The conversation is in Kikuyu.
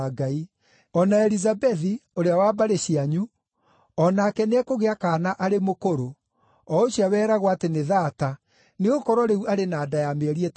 O na Elizabethi, ũrĩa wa mbarĩ cianyu, o nake nĩekũgĩa kaana arĩ mũkũrũ, o ũcio weragwo atĩ nĩ thaata, nĩgũkorwo rĩu arĩ na nda ya mĩeri ĩtandatũ.